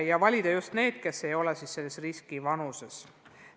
Ja valida tuleks need, kes ei kuulu vanuselisse riskirühma.